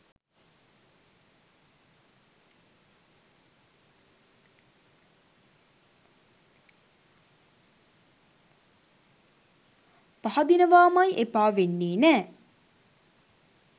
පහදිනවාමයි එපා වෙන්නේ නෑ.